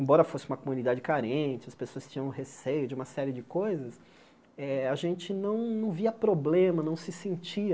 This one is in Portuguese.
Embora fosse uma comunidade carente, as pessoas tinham receio de uma série de coisas, eh a gente não não via problema, não se sentia